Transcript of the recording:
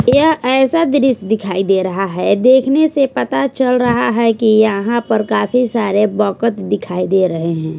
यह ऐसा दृश्य दिखाई दे रहा है देखने से पता चल रहा हैं कि यहां काफी सारे बकत दिखाई दे रहे हैं।